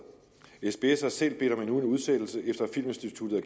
sbs har selv bedt om en udsættelse efter at filminstituttet